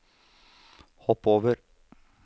hopp over